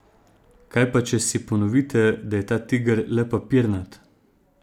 Kaj pa če si ponovite, da je ta tiger le papirnat?